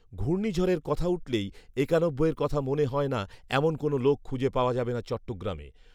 ঘূর্নীঝড়ের কথা উঠলেই একানব্বইয়ের কথা মনে হয় না এমন কোন লোক খুজে পাওয়া যাবে না চট্টগ্রামে